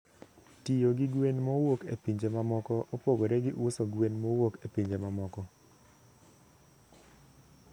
Tiyo gi gwen mowuok e pinje mamoko opogore gi uso gwen mowuok e pinje mamoko.